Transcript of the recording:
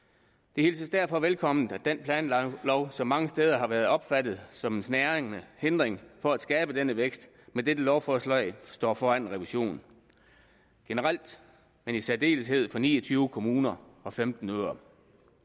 det hilses derfor velkomment at den planlov som mange steder har været opfattet som en snærende hindring for at skabe denne vækst med dette lovforslag står foran en revision generelt men i særdeleshed for ni og tyve kommuner og femten øer